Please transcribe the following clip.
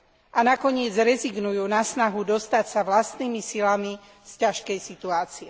A nakoniec rezignujú na snahu dostať sa vlastnými silami z ťažkej situácie.